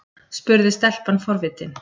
spurði stelpan forvitin.